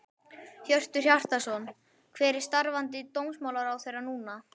Hjörtur Hjartarson: Hver er starfandi dómsmálaráðherra núna?